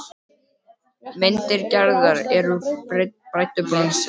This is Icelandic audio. Myndir Gerðar eru úr bræddu bronsi.